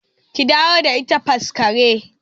Ki dawo da ita Faskari!